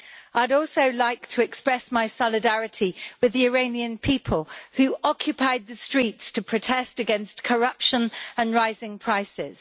I'd also like to express my solidarity with the Iranian people, who occupied the streets to protest against corruption and rising prices.